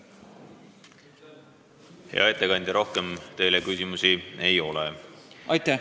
Hea ettekandja, rohkem teile küsimusi ei ole.